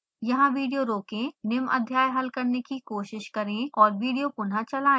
यहाँ विडियो रोकें निम्न अध्याय हल करने की कोशिश करें और विडियो पुनः चलाएं